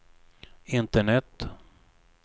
internet